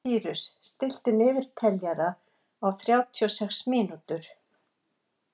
Sýrus, stilltu niðurteljara á þrjátíu og sex mínútur.